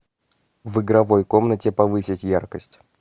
в игровой комнате повысить яркость